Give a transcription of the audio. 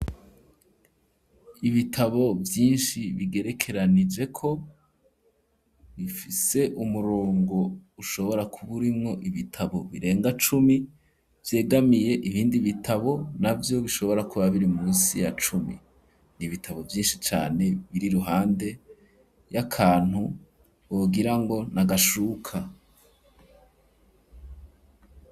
Ibitabo vyinshi bigerekeranije ko, bifise umurongo ushobora kuba urimwo ibitabo birenga cumi, Vyegamiye ibindi bitabo na vyo bishobora kuba biri munsi ya cumi ,ni ibitabo vyinshi cane ,biri ruhande y'akantu wogira ngo nagashuka.